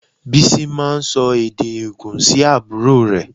Bísí máa ń sọ èdè ègùn sí àbúrò rẹ̀